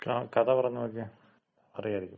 കഥ പറഞ്ഞ് നോക്കിയേ. അറിയാരിക്കും.